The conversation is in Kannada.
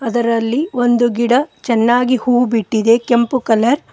ಅದರಲ್ಲಿ ಒಂದು ಗಿಡ ಚೆನ್ನಾಗಿ ಹೂ ಬಿಟ್ಟಿದೆ ಕೆಂಪು ಕಲರ್ --